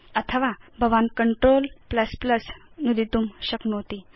अथवा भवान् Ctrl नुदितुं शक्नोति